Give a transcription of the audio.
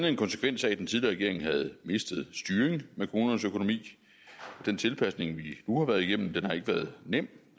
en konsekvens af at den tidligere regering havde mistet styringen med kommunernes økonomi den tilpasning vi nu har været igennem har ikke været nem